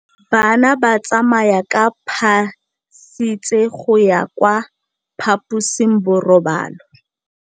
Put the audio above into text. Bana ba tsamaya ka phašitshe go ya kwa phaposiborobalong.